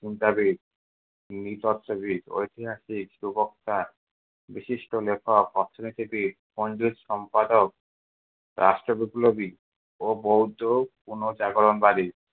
চিন্তাবিদ, নৃতত্ত্ববিদ, ঐতিহাসিক সুবক্তা, বিশিষ্ট লেখক, অর্থনীতিবিদ, পন্ডিত সম্পাদক, রাষ্ট্রবিপ্লবী ও বৌদ্ধ পুনঃজাগরণ বাদী।